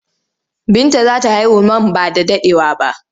Binta za ta haihu man ba da daɗewa ba.